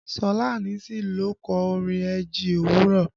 Ṣọlá Allyson ló kọ orin eji òwúrọ̀